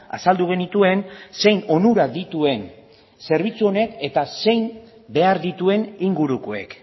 azaldu genituen zein onura dituen zerbitzu honek eta zein behar dituen ingurukoek